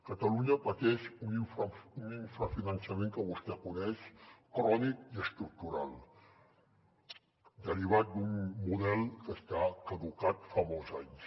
catalunya pateix un infrafinançament que vostè coneix crònic i estructural derivat d’un model que està caducat fa molts anys